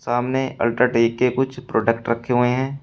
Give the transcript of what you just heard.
सामने अल्ट्राटेक के कुछ प्रोडक्ट रखे हुए है।